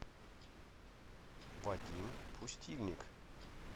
вадим пустильник